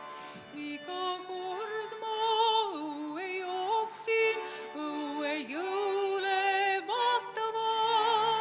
Iga kord ma õue jooksin, õue jõule vaatama.